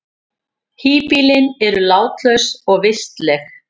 Híbýlin eru látlaus og vistleg.